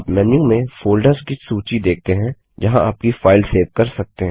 आप मेन्यू में फ़ोल्डर्स की सूची देखते हैं जहाँ आपकी फाइल सेव कर सकते हैं